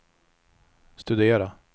studera